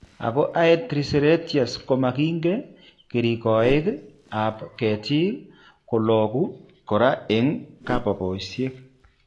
Ako Aedes triseriatus komakyinkee keringoik ab keetik kologu koraa eng' kababosiek